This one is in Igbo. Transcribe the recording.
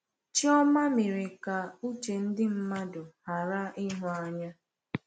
Chioma mere ka uche ndị mmadụ ghara ịhụ anya.